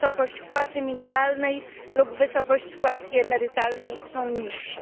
wysokość płacy minimalnej lub wysokość składki emerytalnej, są niższe.